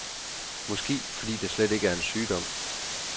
Måske fordi det slet ikke er en sygdom.